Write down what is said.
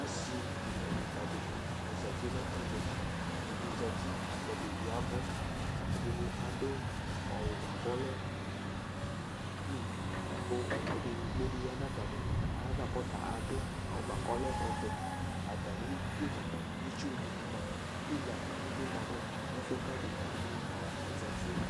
Asɩ dekǝ dekǝ dɩnɩ azati nʋ ɛvɛ Ɛdɩ zati la kʋ ɛdɩ ya ɛvʋ Ɛdɩnɩ adʋ awʋ bʋa kʋ ɔlɛ pɩnk la kʋ edigbo dɩ ya nʋ atanɩ ayava kʋ ɔta adʋ awʋ bʋa kʋ ɔlɛ ɔvɛ Atamɩdu mʋa, itsu dɩnɩ ma Pila dɩnɩ bɩ ma nʋ ɛfʋ yɛ kʋ adekǝ wanɩ aeati yɛ